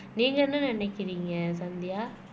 நீங்க என்ன நினைக்கிறீங்க சந்தியா